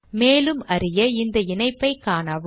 மேலும் அறிய இந்த இணைப்பைக் காணவும்